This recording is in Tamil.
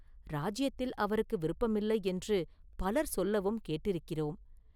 இராஜ்யத்தில் அவருக்கு விருப்பமில்லை என்று பலர் சொல்லவும் கேட்டிருக்கிறோம்.